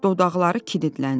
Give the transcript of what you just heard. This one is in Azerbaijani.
Dodaqları kiditləndi.